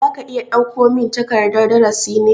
Za ka iya dauko min takardan darasi ne?